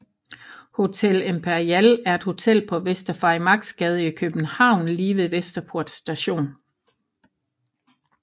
Hotel Imperial er et hotel på Vester Farimagsgade i København lige ved Vesterport Station